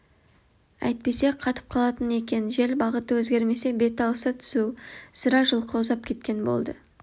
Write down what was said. әйтпесе қатып қалатын екен жел бағыты өзгермесе бет алысы түзу сірә жылқы ұзап кеткен болды